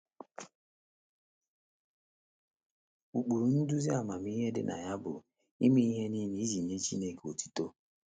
Ụkpụrụ nduzi amamihe dị na ya bụ ‘ ime ihe nile iji nye Chineke otuto. ’